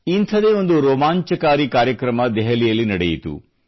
ಇಂಥದೇ ಒಂದು ರೋಮಾಂಚಕಾರಿ ಕಾರ್ಯಕ್ರಮ ದೆಹಲಿಯಲ್ಲಿ ನಡೆಯಿತು